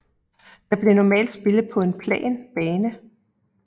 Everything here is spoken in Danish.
Det blev normalt spillet på en plan bane